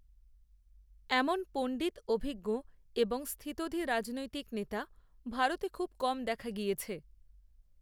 এমন পণ্ডিত অভিজ্ঞ এবংস্থিতধী রাজনৈতিক নেতা ভারতে খুব কম দেখা গিয়েছে